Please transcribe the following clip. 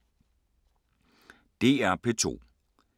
DR P2